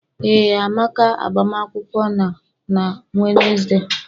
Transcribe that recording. Ee Amaka agbamakwụkwọ na-na Wednesday.